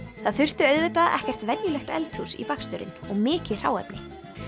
það þurfti auðvitað ekkert venjulegt eldhús í baksturinn og mikið hráefni